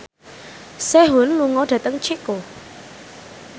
Sehun lunga dhateng Ceko